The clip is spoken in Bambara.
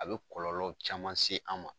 A bɛ kɔlɔnlɔ caman se an ma.